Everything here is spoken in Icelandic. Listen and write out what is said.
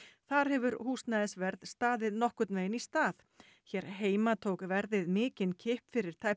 þar hefur húsnæðisverð staðið nokkurn veginn í stað hér heima tók verðið mikinn kipp fyrir tæpum